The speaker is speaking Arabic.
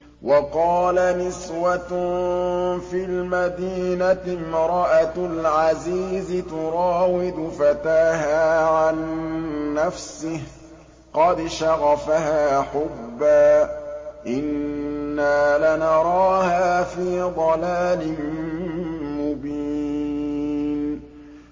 ۞ وَقَالَ نِسْوَةٌ فِي الْمَدِينَةِ امْرَأَتُ الْعَزِيزِ تُرَاوِدُ فَتَاهَا عَن نَّفْسِهِ ۖ قَدْ شَغَفَهَا حُبًّا ۖ إِنَّا لَنَرَاهَا فِي ضَلَالٍ مُّبِينٍ